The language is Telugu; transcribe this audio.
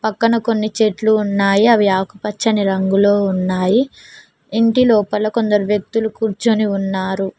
పక్కన కొన్ని చెట్లు ఉన్నాయి అవి ఆకుపచ్చని రంగులో ఉన్నాయి ఇంటి లోపల కొందరు వ్యక్తులు కూర్చుని ఉన్నారు.